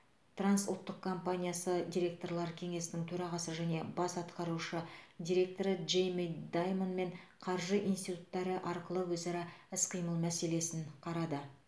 трансұлттық компаниясы директорлар кеңесінің төрағасы және бас атқарушы директоры джейми даймонмен қаржы институттары арқылы өзара іс қимыл мәселесін қарады